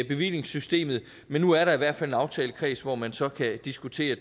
bevillingssystemet men nu er der i hvert fald en aftalekreds hvor man så kan diskutere